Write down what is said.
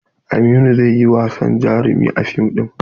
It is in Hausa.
Aminu zai yi wasan jarumi a fim ɗin.